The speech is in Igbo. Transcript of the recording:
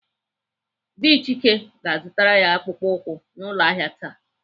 Dị Chika ga-azụtara ya akpụkpọ ụkwụ n'ụlọ ahịa taa.